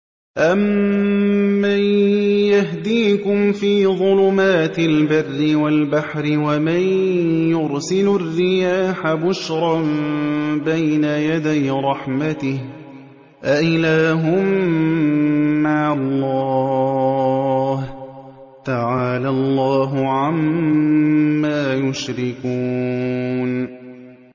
أَمَّن يَهْدِيكُمْ فِي ظُلُمَاتِ الْبَرِّ وَالْبَحْرِ وَمَن يُرْسِلُ الرِّيَاحَ بُشْرًا بَيْنَ يَدَيْ رَحْمَتِهِ ۗ أَإِلَٰهٌ مَّعَ اللَّهِ ۚ تَعَالَى اللَّهُ عَمَّا يُشْرِكُونَ